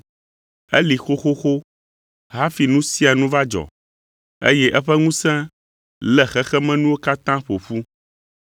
Eli xoxoxo hafi nu sia nu va dzɔ, eye eƒe ŋusẽ lé xexemenuwo katã ƒo ƒu.